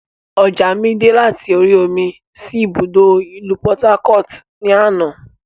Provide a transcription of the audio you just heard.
Ọjà mi dè láti orí omi sì ibùdókọ̀ ìlú "Port-harcourt" ni àná.